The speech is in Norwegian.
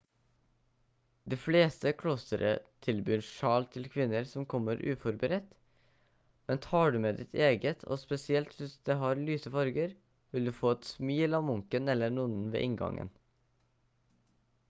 de fleste klostre tilbyr sjal til kvinner som kommer uforberedt men tar du med ditt eget og spesielt hvis det har lyse farger vil du få et smil av munken eller nonnen ved inngangen